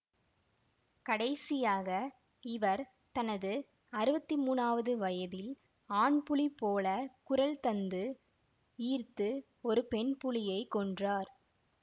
கடைசியாக இவர் தனது அறுவத்தி மூனாவது வயதில் ஆண்புலி போலக் குரல் தந்து ஈர்த்து ஒரு பெண்புலியைக் கொன்றார்